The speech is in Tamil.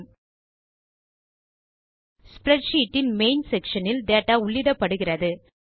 ஸ்ப்ரெட்ஷீட் இன் மெயின் செக்ஷன் ல் டேட்டா உள்ளிடப்படுகிறது